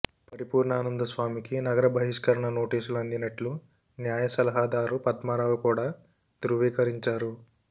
పరిపూర్ణానంద స్వామికి నగర బహిష్కరణ నోటీసులు అందినట్లు న్యాయసలహాదారు పద్మారావు కూడా ధ్రవీకరించారు